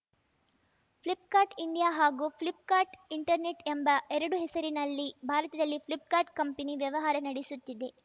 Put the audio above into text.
Flipkart India ಹಾಗೂ Flipkart internet ಎಂಬ ಎರಡು ಹೆಸರಿನಲ್ಲಿ ಭಾರತದಲ್ಲಿ ಫ್ಲಿಪ್‌ಕಾರ್ಟ್‌ ಕಂಪನಿ ವ್ಯವಹಾರ ನಡೆಸುತ್ತಿದೆ